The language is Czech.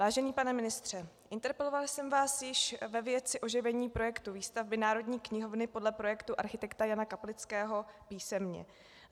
Vážený pane ministře, interpelovala jsem vás již ve věci oživení projektu výstavby Národní knihovny podle projektu architekta Jana Kaplického písemně.